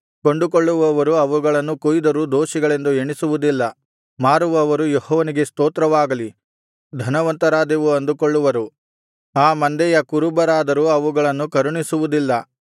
ಕೊಂಡುಕೊಳ್ಳುವವರು ಅವುಗಳನ್ನು ಕೊಯ್ದರೂ ದೋಷಿಗಳೆಂದು ಎಣಿಸುವುದಿಲ್ಲ ಮಾರುವವರು ಯೆಹೋವನಿಗೆ ಸ್ತೋತ್ರವಾಗಲಿ ಧನವಂತರಾದೆವು ಅಂದುಕೊಳ್ಳುವರು ಆ ಮಂದೆಯ ಕುರುಬರಾದರೂ ಅವುಗಳನ್ನು ಕರುಣಿಸುವುದಿಲ್ಲ